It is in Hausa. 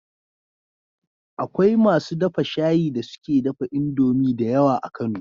Akwai masu dafa shayi da suke dafa indomie da yawa a kano